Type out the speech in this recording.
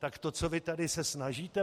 Tak to, co vy se tady snažíte